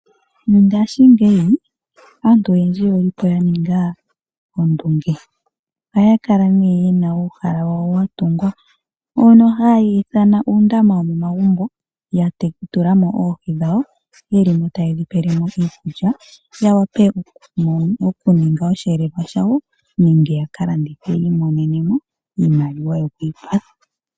Ngashingeyi aantu oyendji oyelipo yaninga ondunge, ohaya kala nee yena uuhala wawo watungwa mbono haye wu ithana uundama wo momagumbo. Ya tulamo oohi dhawo, dhilimo tayedhi pelemo iikulya yawape okuninga oshiyelelwa shawo nenge yakalandithe yiimonenemo iimaliwa yokwii kwathela.